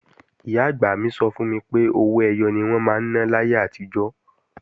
Ìyá-àgbà mi sọ fún mi pé owó ẹyọ ni wọ́n máa ń ná láyé àtijọ́